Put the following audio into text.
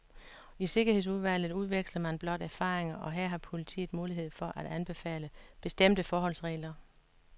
I sikkerhedsudvalget udveksler man blot erfaringer, og her har politiet mulighed for at anbefale bestemte forholdsregler.